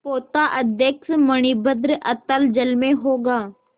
पोताध्यक्ष मणिभद्र अतल जल में होगा